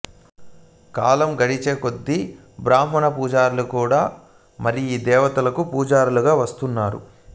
కాలం గడిచేకొద్దీ బ్రాహ్మణపూజారులు కూడా మారి ఈదేవతకు పూజారులు గా వస్తున్నారు